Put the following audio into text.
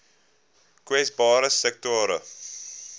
kwesbare sektore